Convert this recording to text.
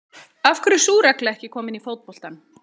Af hverju er sú regla ekki komin í fótbolta?